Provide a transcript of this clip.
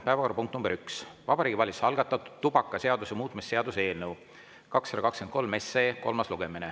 Päevakorrapunkt nr 1: Vabariigi Valitsuse algatatud tubakaseaduse muutmise seaduse eelnõu 223 kolmas lugemine.